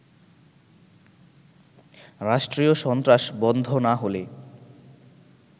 রাষ্ট্রীয় সন্ত্রাস বন্ধ না হলে